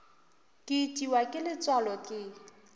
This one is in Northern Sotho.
ke itiwa ke letswalo ke